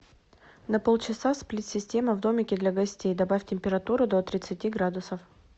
на полчаса сплит система в домике для гостей добавь температуру до тридцати градусов